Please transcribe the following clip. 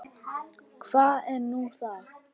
Hvað er nú það?